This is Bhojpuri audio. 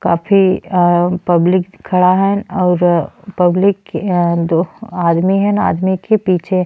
काफी आ पब्लिक खड़ा हन और पब्लिक दो आदमी हांआदमी के पीछे --